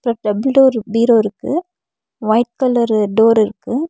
Double door பீரோ இருக்கு white colour door இருக்கு.